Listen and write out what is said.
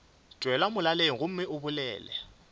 tšwela molaleng gomme o bolela